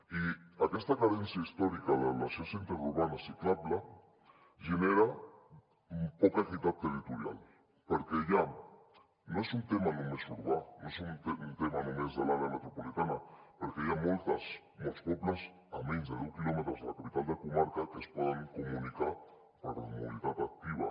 i aquesta carència històrica de la xarxa interurbana ciclable genera poca equitat territorial perquè ja no és un tema només urbà no és un tema només de l’àrea metropolitana perquè hi ha molts pobles a menys de deu quilòmetres de la capital de comarca que es poden comunicar per mobilitat activa